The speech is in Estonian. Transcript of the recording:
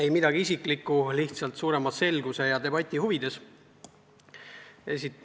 Ei midagi isiklikku, lihtsalt suurema selguse ja debati huvides.